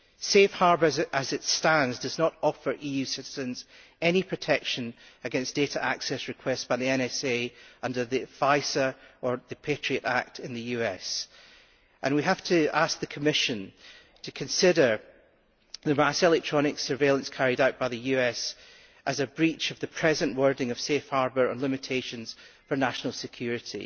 Safe Harbour, as it stands, does not offer EU citizens any protection against data access requests by the NSA under the Foreign Intelligence Surveillance Act or the Patriot Act in the US, and we have to ask the Commission to consider the vast electronic surveillance carried out by the US as a breach of the present wording of Safe Harbour and limitations for national security.